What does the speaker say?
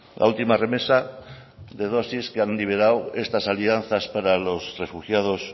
la última remesa de dosis que han liberado estas alianzas para los refugiados